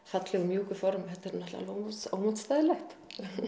fallegu mjúku form þetta er náttúrulega alveg ómótstæðilegt